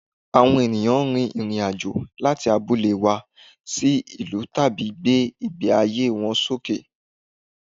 Awọn eyàn rìnrìn àjò láti abúlé wá sí ìlú láti gbé ìgbé ayé wọn sókè